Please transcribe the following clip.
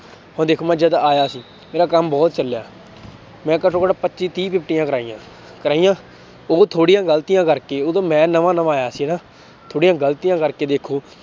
ਹੁਣ ਦੇਖੋ ਮੈਂ ਜਦ ਆਇਆ ਸੀ ਮੇਰਾ ਕੰਮ ਬਹੁਤ ਚੱਲਿਆ ਮੈਂ ਘੱਟੋ ਘੱਟ ਪੱਚੀ ਤੀਹ ਕਰਵਾਈਆਂ ਕਰਵਾਈਆਂ, ਉਹ ਥੋੜ੍ਹੀਆਂ ਗ਼ਲਤੀਆਂ ਕਰਕੇ ਉਦੋਂ ਮੈਂ ਨਵਾਂ ਨਵਾਂ ਆਇਆ ਸੀ ਨਾ ਥੋੜ੍ਹੀਆਂ ਗ਼ਲਤੀਆਂ ਕਰਕੇ ਦੇਖੋ